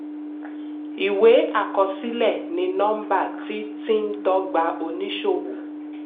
ìwé àkọsílẹ̀ ní nọ́mbà tí tí ń dọ́gba oníṣòwò.